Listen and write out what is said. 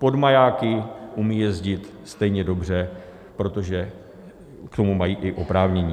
Pod majáky umí jezdit stejně dobře, protože k tomu mají i oprávnění.